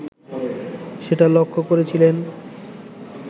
সেটা লক্ষ করেছিলেন